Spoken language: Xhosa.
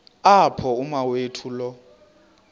apho umawethu lo